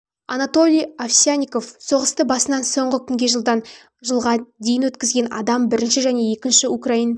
анатолий овсянников соғысты басынан соңғы күнге жылдан жылға дейін өткізген адам бірінші және екінші украин